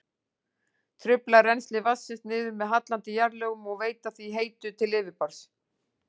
trufla rennsli vatnsins niður með hallandi jarðlögum og veita því heitu til yfirborðs.